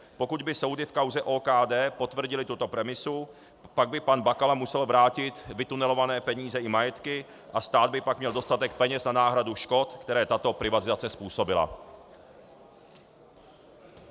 Pokud by soudy v kauze OKD potvrdily tuto premisu, pak by pan Bakala musel vrátit vytunelované peníze i majetky a stát by pak měl dostatek peněz na náhradu škod, které tato privatizace způsobila.